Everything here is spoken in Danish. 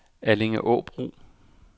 Allingåbro